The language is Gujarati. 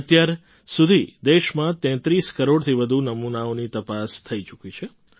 અત્યાર સુધી દેશમાં ૩૩ કરોડથી વધુ નમૂનાઓની તપાસ થઈ ચૂકી છે